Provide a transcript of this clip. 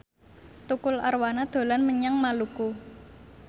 Tukul Arwana dolan menyang Maluku